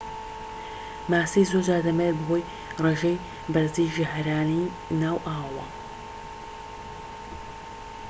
ماسی زۆرجار دەمرێت بەهۆی ڕێژەی بەرزی ژەهرەانی ناو ئاوەوە